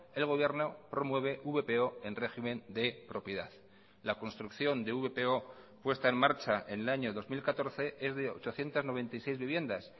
el gobierno promueve vpo en régimen de propiedad la construcción de vpo puesta en marcha en el año dos mil catorce es de ochocientos noventa y seis viviendas